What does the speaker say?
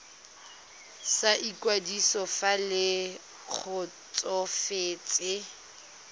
sa ikwadiso fa le kgotsofetse